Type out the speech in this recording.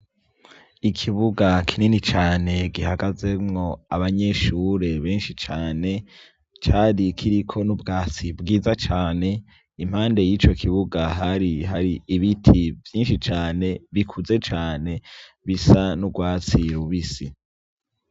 Ikibuga kinini cane gihagazemwo abanyeshure benshi cane cari kiriko ubwatsi bwiza cane impande yico kibuga hari hari ibiti vyinshi cane bikuze cane bisa nurwatsi rubisi